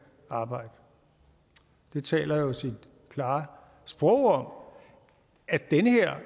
arbejde det taler jo sit klare sprog om at den